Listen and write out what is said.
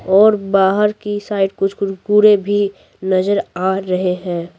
और बाहर की साइड कुछ कुरकुरे भी नजर आ रहे हैं।